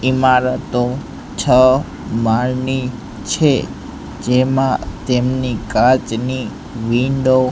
ઇમારતો છ માળની છે જેમા તેમની કાચની વિન્ડો .